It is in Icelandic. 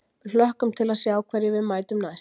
Við hlökkum til að sjá hverjum við mætum næst.